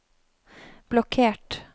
blokkert